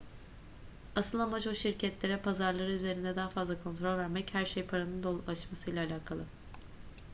asıl amaç o şirketlere pazarları üzerinde daha fazla kontrol vermek her şey paranın dolaşmasıyla alakalı